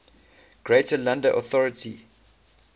greater london authority